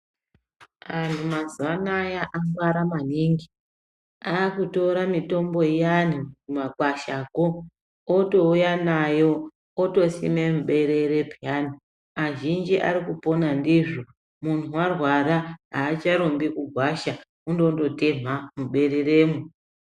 Antu mazuva anaya angwara maningi akutora mitombo iyani kumakwashako otouya nayo otosime muberere peyani. Azhinji ari kupona ndizvo muntu arwara haacharumbi kugwasha unondondo temha mubereremo.